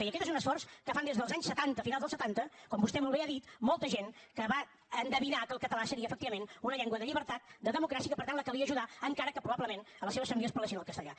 i aquest és un esforç que fan des dels anys setanta finals dels setanta com vostè molt bé ha dit molta gent que va endevinar que el català seria efectivament una llengua de llibertat de democràcia i que per tant la calia ajudar encara que probablement a les seves famílies parlessin el castellà